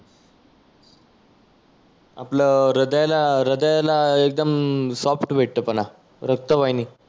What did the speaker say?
आपलं हृदयाला हृदयाला एकदम सॉफ्ट भेटतो पणा रक्त वाहिणी.